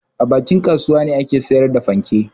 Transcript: A bakin kasuwa ne ake sayar da fanke.